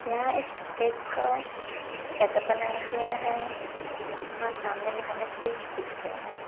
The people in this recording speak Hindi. यहाँ एक क्रिकेट का सेटअप बनाया गया है यहाँ सामने में हमें पिच दिख रहे हैं।